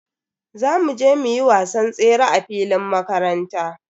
Za mu je muyi wasan tsere a filin makaranta.